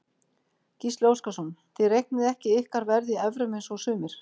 Gísli Óskarsson: Þið reiknið ekki ykkar verð í evrum eins og sumir?